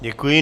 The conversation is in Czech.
Děkuji.